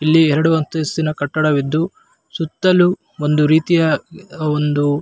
ಇಲ್ಲಿ ಎರಡು ಅಂತಸ್ತಿನ ಕಟ್ಟಡ ವಿದ್ದು ಸುತ್ತಲೂ ಒಂದು ರೀತಿಯ ಒಂದು --